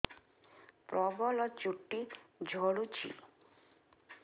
ପ୍ରବଳ ଚୁଟି ଝଡୁଛି